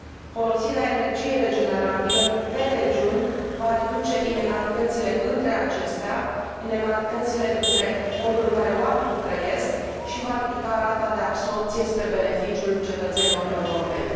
Folosirea energiei regenerabile pe regiuni va reduce inegalitățile între acestea, inegalitățile între modul în care oamenii trăiesc și va ridica rata de absorbție, spre beneficiul cetățenilor europeni.